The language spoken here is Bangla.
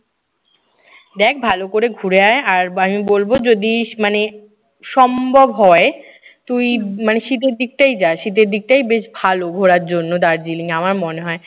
দেখ ভালো করে ঘুরে আয়, আর আমি বলবো যদি ইস্ মানে সম্ভব হয় তুই মানে শীতের দিকটায় যা। শীতে দিকটাই বেশ ভালো ঘোরার জন্য দার্জিলিং আমার মনে হয়।